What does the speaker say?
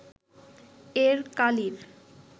এর কালির